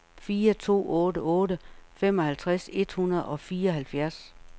fire to otte otte femoghalvtreds et hundrede og fireoghalvfjerds